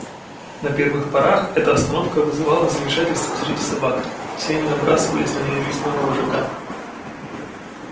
на первых порах эта остановка вызывала замешательство среди собак все они набрасывались на ненавистного вожака